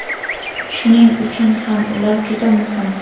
Shuning uchun ham ular juda muhim.